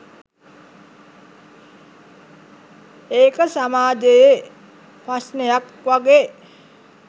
ඒක සමාජයෙ ප්‍රශ්නයක් වගේ